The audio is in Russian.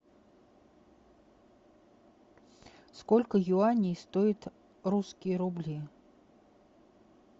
сколько юаней стоит русские рубли